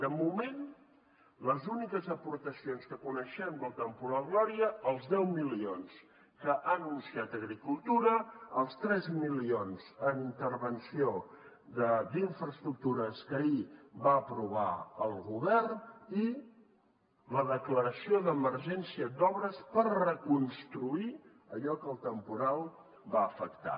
de moment les úniques aportacions que coneixem del temporal gloria els deu milions que ha anunciat agricultura els tres milions en intervenció d’infraestructures que ahir va aprovar el govern i la declaració d’emergència d’obres per reconstruir allò que el temporal va afectar